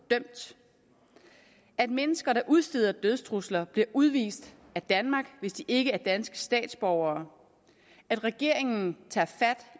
at mennesker der udsteder dødstrusler bliver udvist af danmark hvis de ikke er danske statsborgere at regeringen tager fat